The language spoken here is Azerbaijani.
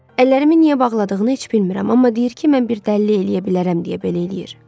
Əllərimi niyə bağladığını heç bilmirəm, amma deyir ki, mən bir dəlillik eləyə bilərəm deyə belə eləyir.